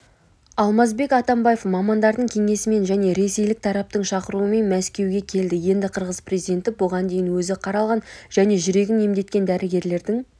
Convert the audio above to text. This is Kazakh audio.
алмазбек атамбаев мамандардың кеңесімен және ресейлік тараптың шақыруымен мәскеуге келді енді қырғыз президенті бұған дейін өзі қаралған және жүрегін емдеткен дәрігерлердің